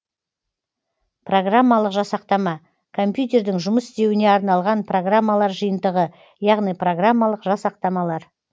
программалық жасақтама компьютердің жұмыс істеуіне арналған программалар жиынтығы яғни программалық жасақтамалар